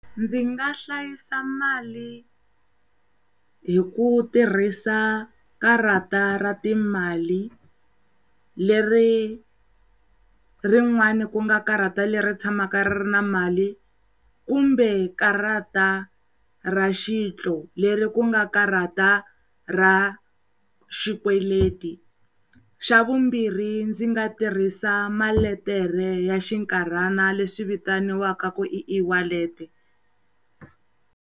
Ndzi nga hlayisa mali hi ku tirhisa karata ra timali leri rin'wani ku nga karata leri tshamaka ri ri na mali kumbe karata ra xitlo leri ku nga karata ra xikweleti, xa vumbirhi ndzi nga tirhisa malete ya xikarhana leswi vitaniwaka ku i iwalete.